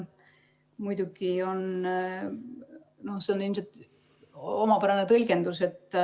Muidugi on see ilmselt omapärane tõlgendus.